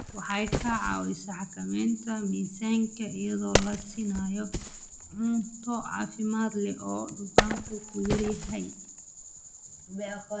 Waxay ka caawisaa xakamaynta miisaanka iyadoo la siinayo cunto caafimaad leh oo dufanku ku yar yahay.